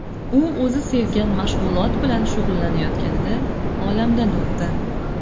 U o‘zi sevgan mashg‘ulot bilan shug‘ullanayotganida, olamdan o‘tdi.